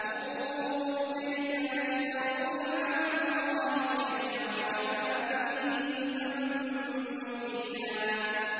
انظُرْ كَيْفَ يَفْتَرُونَ عَلَى اللَّهِ الْكَذِبَ ۖ وَكَفَىٰ بِهِ إِثْمًا مُّبِينًا